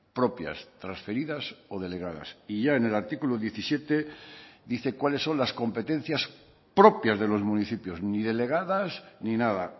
propias transferidas o delegadas y ya en el artículo diecisiete dice cuáles son las competencias propias de los municipios ni delegadas ni nada